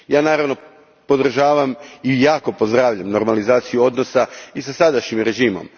Ja, naravno, podržavam i jako pozdravljam normalizaciju odnosa i sa sadašnjim režimom.